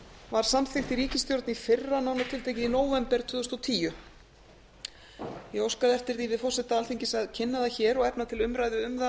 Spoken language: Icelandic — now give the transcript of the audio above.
var samþykkt í ríkisstjórn í fyrra nánar tiltekið í nóvember tvö þúsund og tíu ég óskaði eftir því við forseta alþingis að kynna það hér og efna til umræðu um það á